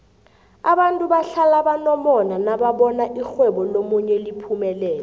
abantu bahlala banomona nababona irhwebo lomunye liphumelela